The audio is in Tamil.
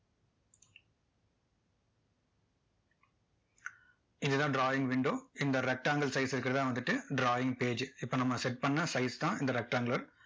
இது தான் drawing window இந்த rectangle size க்கு தான் வந்துட்டு drawing page இப்போ நம்ம set பண்ண size தான் இந்த rectangle